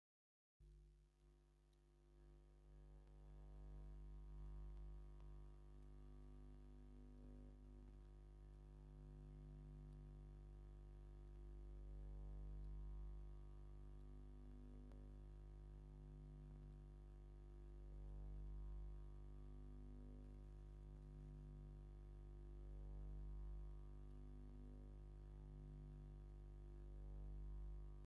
ሓደ ንእሽቶ ወዲ ናብ ሰማያዊ መኽዘን ዝመስል ገዛ ክኣቱ ይርአ። እቲ ከባቢ ብተፈጥሮኣዊ ብርሃን መዓልቲ ዝተመልአ እዩ። እዚ ምስሊ ህጹጽ መዕቆቢ ወይ መሰረታዊ ደገፍ ኣዳራሽ ምዃኑ ይሕብር። ቁሩብ ቃንዛ ልብን ናይ ተስፋ ስምዒትን የቕርብ።